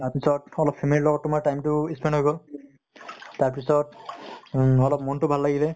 তাৰ পিছত অলপ family ৰ লগত time তো spent হৈ গʼল । তাৰ পিছত উম অলপ মন টো ভাল লাগিলে